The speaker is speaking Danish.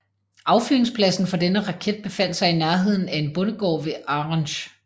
Affyringspladsen for denne raket befandt sig i nærheden af en bondegård ved Arensch